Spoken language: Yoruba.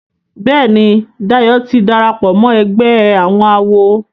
Béèni Dayo tí darapọ̀ mọ ègbé àwọn àwo.